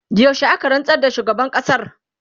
yaushe aka rantsar da shugaban ƙasar?